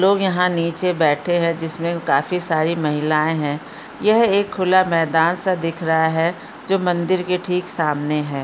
लोग यहाँ नीचे बैठे हैं जिसमें काफी सारी महिलाए हैं। यह एक खुला मैदान सा दिख रहा है जो मंदिर के ठीक सामने है।